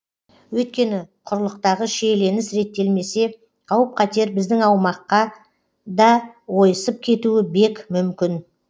өйткені құрлықтағы шиеленіс реттелмесе қауіп қатер біздің аумаққа да ойысып кетуі бек мүмкін